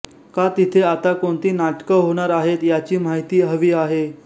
का तिथे आत्ता कोणती नाटकं होणार आहेत याची माहिती हवी आहे